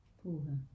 Puha